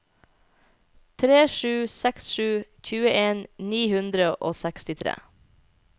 tre sju seks sju tjueen ni hundre og sekstitre